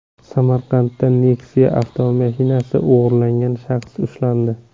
Samarqandda Nexia avtomashinasini o‘g‘irlagan shaxs ushlandi.